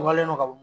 Walen do ka bɔ